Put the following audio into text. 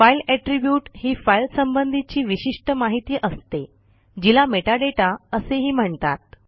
file attribute ही file संबंधीची विशिष्ठ माहिती असते जिला मेटाडाटा असेही म्हणतात